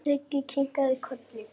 Siggi kinkaði kolli.